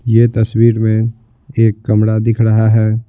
यह तस्वीर में एक कमरा दिख रहा है।